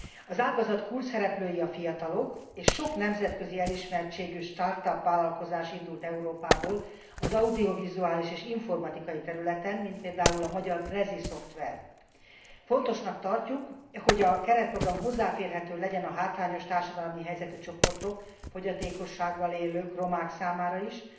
Az ágazat kulcsszereplői a fiatalok, és sok nemzetközi elismertségű start up vállalkozás indult Európából az audiovizuális és informatikai területen, mint például magyar Prezi szoftver. Fontosnak tartjuk, hogy a keretprogram hozzáférhető legyen a hátrányos társadalmi helyzetű csoportok, fogyatékossággal élők, romák számára is